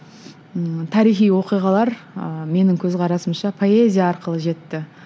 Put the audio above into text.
ммм тарихи оқиғалар ыыы менің көзқарасымша поэзия арқылы жетті